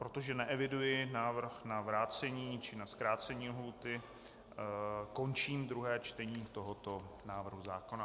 Protože neeviduji návrh na vrácení či na zkrácení lhůty, končím druhé čtení tohoto návrhu zákona.